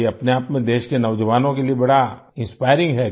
ये अपने आप में देश के नौजवानों के लिए बड़ा इंस्पायरिंग हैं